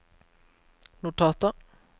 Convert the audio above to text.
notater